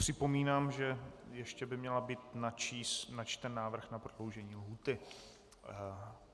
Připomínám, že ještě by měl být načten návrh na prodloužení lhůty.